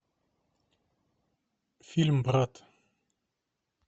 фильм брат